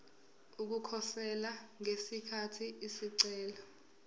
ukukhosela ngesikhathi isicelo